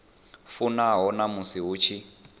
fanaho na musi hu tshi